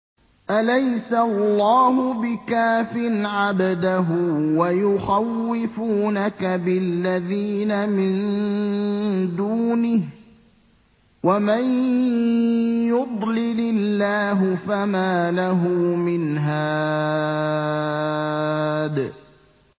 أَلَيْسَ اللَّهُ بِكَافٍ عَبْدَهُ ۖ وَيُخَوِّفُونَكَ بِالَّذِينَ مِن دُونِهِ ۚ وَمَن يُضْلِلِ اللَّهُ فَمَا لَهُ مِنْ هَادٍ